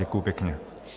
Děkuji pěkně.